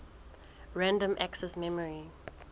random access memory